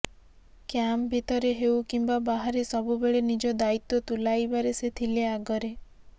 camp ଭିତରେ ହେଉ କିମ୍ବା ବାହାରେ ସବୁବେଳେ ନିଜ ଦାୟିତ୍ୱ ତୁଲାଇବାରେ ସେ ଥିଲେ ଆଗରେ